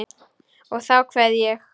Og þá kveð ég.